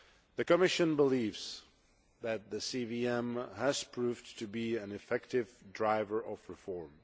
The Commission believes that the CVM has proved to be an effective driver of reform.